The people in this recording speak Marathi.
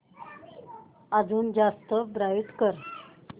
अजून जास्त ब्राईट कर